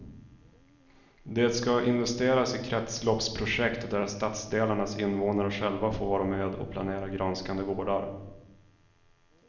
Det ska investeras i kretsloppsprojekt där stadsdelarnas invånare själva får vara med och planera grönskande gårdar.